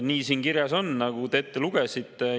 Nii siin kirjas on, nagu te ette lugesite.